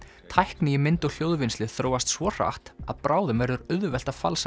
tækni í mynd og hljóðvinnslu þróast svo hratt að bráðum verður auðvelt að falsa